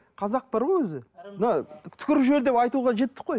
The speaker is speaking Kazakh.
қазақ бар ғой өзі мына түкіріп жібер деп айтуға жеттік қой